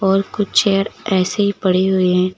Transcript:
और कुछ चेयर ऐसे ही पड़ी हुई है।